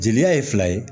Jeliya ye fila ye